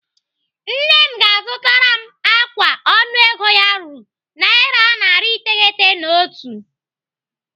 Nne m ga-azụtara m ákwà ọnụego ya ruru naira narị iteghete na otu.